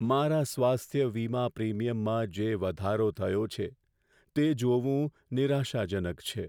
મારા સ્વાસ્થ્ય વીમા પ્રિમીયમમાં જે વધારો થયો છે, તે જોવું નિરાશાજનક છે.